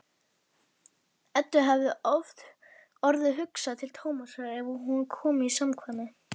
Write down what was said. Eddu hefur oft orðið hugsað til Tómasar eftir að hún kom í samkvæmið.